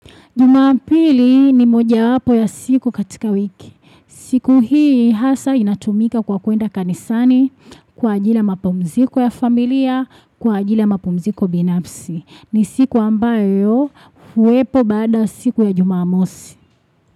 Jumapili ni mojawapo ya siku katika wiki. Siku hii hasa inatumika kwa kwenda kanisani kwa ajili ya mapumziko ya familia, kwa ajili mapumziko binafsi. Ni siku ambayo huwepo baada siku ya jumamosi.